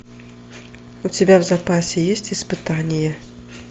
у тебя в запасе есть испытания